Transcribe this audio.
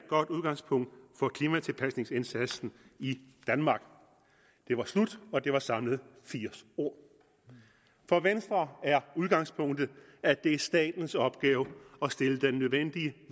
godt udgangspunkt for klimatilpasningsindsatsen i danmark det var slut og det var samlet firs ord for venstre er udgangspunktet at det er statens opgave at stille den nødvendige